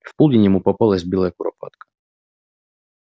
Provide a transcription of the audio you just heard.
в полдень ему попалась белая куропатка